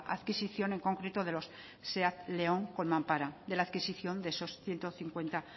adquisición en concreto de los seat león con mampara de la adquisición de esos ciento cincuenta